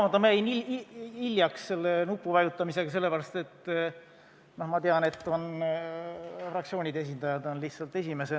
Ma vabandan, jäin nupuvajutamisega hiljaks, sest ma tean, et fraktsioonide esindajad esinevad lihtsalt esimesena.